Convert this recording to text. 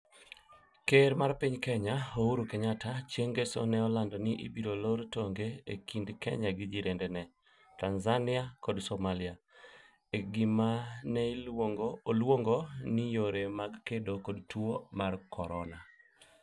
Ker mar piny Kenya Uhuru Kenyatta, chieng ngeso ne olando ni ibiro loro tong'e e kind kenya gi jirandene, Tanzania koda Somalia, e gima ne oluongo ni ' yore mag kedo kod tuo mar corona